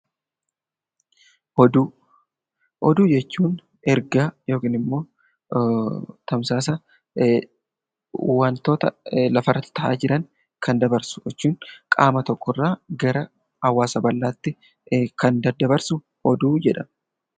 Oduu Oduu jechuun ergaa yookiin immoo tamsaasa waantota lafa irratti ta'aa jiranii kan dabarsu, qaama tokko irraa gara hawaasa bal'aatti kan daddabarsu oduu jedhama.